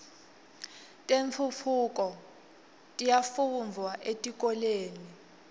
tentfutfuko tiyafundvwa etikolweni